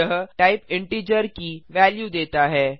यह type integer की value देता है